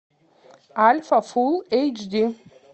альфа фулл эйч ди